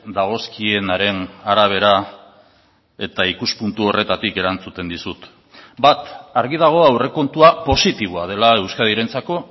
dagozkienaren arabera eta ikuspuntu horretatik erantzuten dizut bat argi dago aurrekontua positiboa dela euskadirentzako